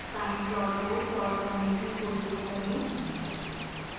sine plot को plot करने की कोशिश करें